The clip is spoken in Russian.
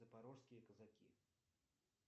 запорожские казаки